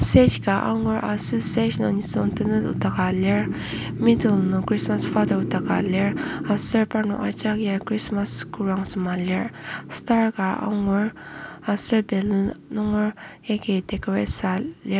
stage ka angur aser stage nung nisung tenet nokdaka lir middle nung Christmas father nokdaka lir aser parnok ajak ya Christmas kodang sema lir star ka angur aser balloon nunger yagi decorate sua lir.